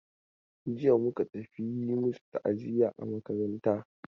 Jiya muka tafi yi masu ta'aziya a makaranta.